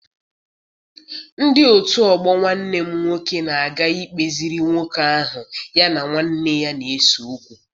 Ndị otu ọgbọ Nwanne m nwoke na-aga ikpeziri nwoke ahụ ya na nwanne ya na-ese okwu.